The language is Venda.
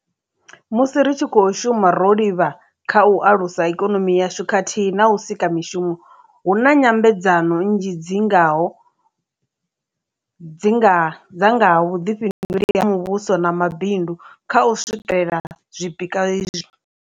Musi ri tshi khou shuma ro livha kha u alusa ikonomi yashu khathihi na u sika mishumo, hu na nyambedzano nnzhi dzi nga ho dza nga ha vhuḓifhinduleli ha muvhuso na mabindu kha u swikela zwipikwa izwi.